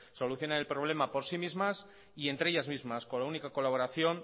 solucionen el problema por sí mismas y entre ellas mismas con la única colaboración